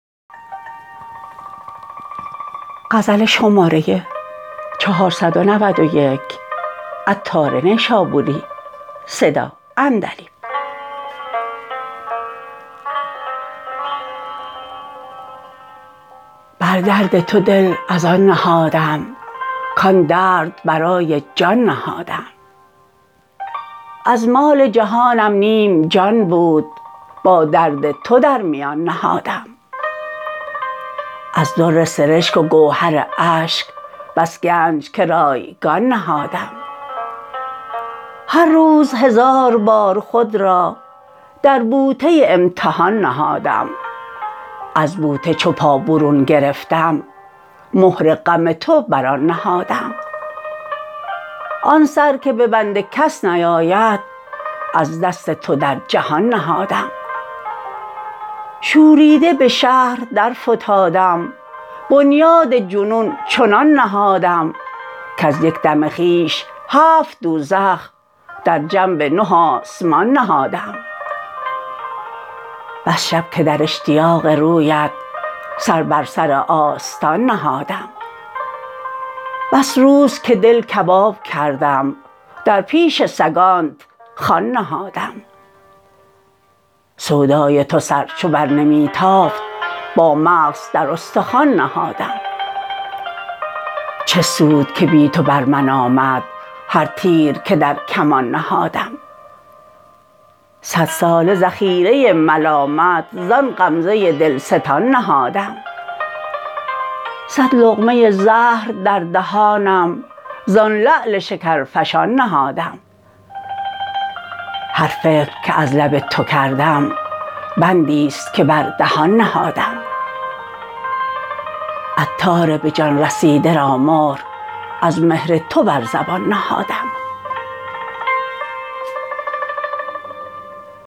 بر درد تو دل از آن نهادم کان درد برای جان نهادم از مال جهانم نیم جان بود با درد تو در میان نهادم از در سرشک و گوهر اشک بس گنج که رایگان نهادم هر روز هزار بار خود را در بوته امتحان نهادم از بوته چو پا برون گرفتم مهر غم تو بر آن نهادم آن سر که ببند کس نیاید از دست تو در جهان نهادم شوریده به شهر در فتادم بنیاد جنون چنان نهادم کز یک دم خویش هفت دوزخ در جنب نه آسمان نهادم بس شب که در اشتیاق رویت سر بر سر آستان نهادم بس روز که دل کباب کردم در پیش سگانت خوان نهادم سودای تو سر چو بر نمی تافت با مغز در استخوان نهادم چه سود که بی تو بر من آمد هر تیر که در کمان نهادم صد ساله ذخیره ملامت زان غمزه دلستان نهادم صد لقمه زهر در دهانم زان لعل شکرفشان نهادم هر فکر که از لب تو کردم بندی است که بر دهان نهادم عطار به جان رسیده را مهر از مهر تو بر زبان نهادم